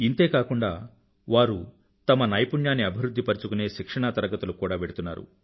ఇంతే కాకుండా వారు తమ నైపుణ్యాన్ని అభివృధ్ధి పరుచుకునే శిక్షణా తరగతులకు కూడా వెడుతున్నారు